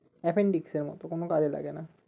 Appendix এর মতো কোনো কাজে লাগে না